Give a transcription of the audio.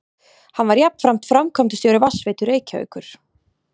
Hann var jafnframt framkvæmdastjóri Vatnsveitu Reykjavíkur.